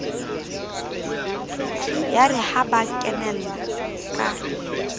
yare ha ba kenella ka